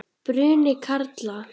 Bruni karla.